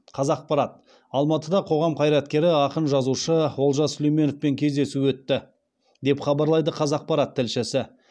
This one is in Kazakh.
қазақпарат алматыда қоғам қайраткері ақын жазушы олжас сүлейменовпен кездесу өтті деп хабарлайды қазақпарат тілшісі